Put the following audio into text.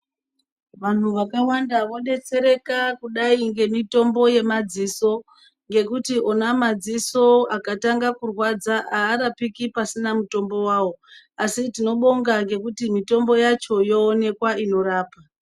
Vanhu vakawanda vodetsereka kudai ngemitombo yemadziso ngekuti ona madziso akatanga kurwadza aarapiki pasina mitombo wawo, asi tinobonga ngekuti mitombo yacho yoonekwa inorapa.